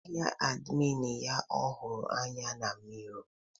ahịa admin ya ọhụrụ anya na mirror